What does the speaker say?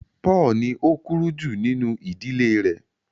Paulu ní o kúrú ju nínú ìdílé rẹ